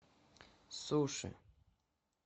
суши